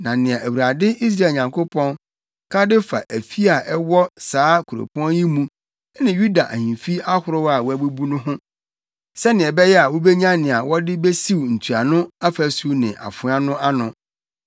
Na nea Awurade, Israel Nyankopɔn, ka de fa afi a ɛwɔ saa kuropɔn yi mu ne Yuda ahemfi ahorow a wɔabubu no ho, sɛnea ɛbɛyɛ a wubenya nea wɔde besiw ntuano afasu ne afoa no ano,